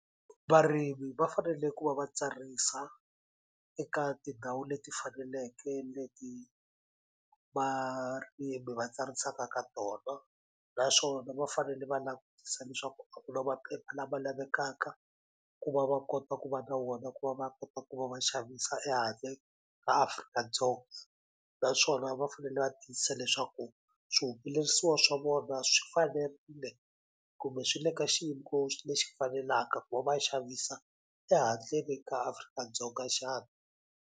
Varimi va fanele ku va va tsarisa eka tindhawu leti faneleke leti varimi va tsarisaka ka tona naswona va fanele va langutisa leswaku a ku na maphepha lama lavekaka ku va va kota ku va na wona ku va va kota ku va va xavisa ehandle ka Afrika-Dzonga naswona va fanele va tiyisisa leswaku swihumelerisiwa swa vona swi fanerile kumbe swi le ka lexi fanelaka ku va va xavisa ehandleni ka Afrika-Dzonga xana.